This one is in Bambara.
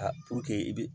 i bi